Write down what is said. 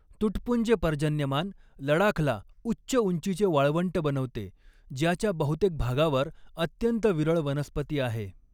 तुटपुंजे पर्जन्यमान लडाखला उच्च उंचीचे वाळवंट बनवते ज्याच्या बहुतेक भागावर अत्यंत विरळ वनस्पती आहे.